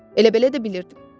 Elə-belə də bilirdim.